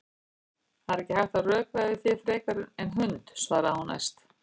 Það er ekki hægt að rökræða við þig frekar en hund, svarar hún æst.